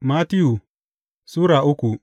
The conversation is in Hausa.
Mattiyu Sura uku